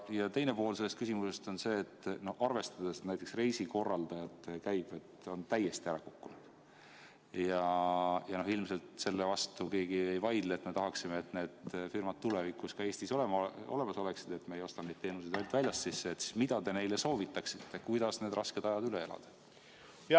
Ja teine pool küsimusest on see: arvestades, et reisikorraldajate käibed on täiesti ära kukkunud – ja ilmselt selle vastu keegi ei vaidle, et me tahaksime, et need firmad tulevikus ka Eestis olemas oleksid ja me ei ostaks neid teenuseid ainult väljast sisse –, mida te neile soovitaksite, kuidas need rasked ajad üle elada?